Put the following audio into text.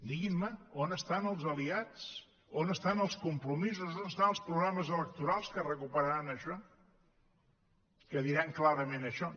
diguin me on estan els aliats on estan els compromisos on estan els programes electorals que recuperaran això que diran clarament això